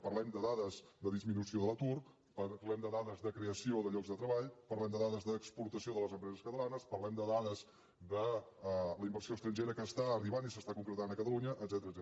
parlem de dades de disminució de l’atur parlem de dades de creació de llocs de treball parlem de dades d’exportació de les empreses catalanes parlem de dades de la inversió estrangera que està arribant i s’està concretant a catalunya etcètera